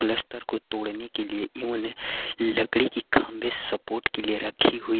Plaster को तोड़ने के लिए इन्होंने लकड़ी की काम पे सपोर्ट के लिए रखी हुई।